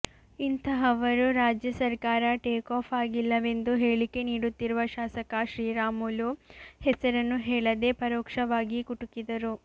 ಇಂತಹವರು ರಾಜ್ಯ ಸರ್ಕಾರ ಟೇಕಾಫ್ ಆಗಿಲ್ಲವೆಂದು ಹೇಳಿಕೆ ನೀಡುತ್ತಿರುವ ಶಾಸಕ ಶ್ರೀರಾಮುಲು ಹೆಸರನ್ನು ಹೇಳದೆ ಪರೋಕ್ಷವಾಗಿ ಕುಟುಕಿದರು